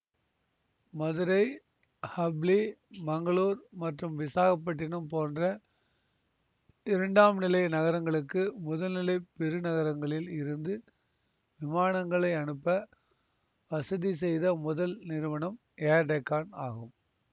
மதுரை ஹப்ளி மங்களூர் மற்றும் விசாகப்பட்டினம் போன்ற இரண்டாம்நிலை நகரங்களுக்கு முதல்நிலை பெருநகரங்களில் இருந்து விமானங்களை அனுப்ப வசதி செய்த முதல் நிறுவனம் ஏர் டெக்கான் ஆகும்